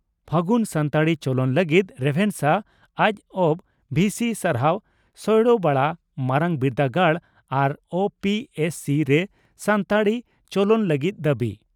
ᱯᱷᱟᱹᱜᱩᱱ ᱥᱟᱱᱛᱟᱲᱤ ᱪᱚᱞᱚᱱ ᱞᱟᱹᱜᱤᱫ ᱨᱮᱵᱷᱮᱱᱥᱟ ᱡᱹᱵᱹ ᱵᱷᱤᱥᱤ ᱥᱟᱨᱦᱟᱣ ᱥᱚᱭᱲᱚᱵᱟᱲᱟ ᱢᱟᱨᱟᱝᱵᱤᱨᱫᱟᱹᱜᱟᱲ ᱟᱨ ᱳᱹᱯᱚᱤᱹᱮᱥᱹᱥᱤ ᱨᱮ ᱥᱟᱱᱛᱟᱲᱤ ᱪᱚᱞᱚᱱ ᱞᱟᱹᱜᱤᱫ ᱫᱟᱵᱤ